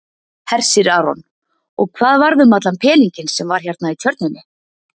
Hersir Aron: Og hvað varð um allan peninginn sem var hérna í tjörninni?